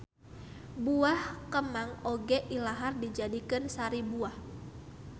Buah kemang oge ilahar dijadikeun sari buah